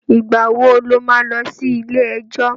Ìgbà wo lo má lọ sí ilé-ẹjọ̀?